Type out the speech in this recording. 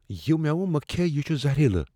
یہِ میوٕ مہ کھیہ ۔ یہ چُھ زہریلہٕ ۔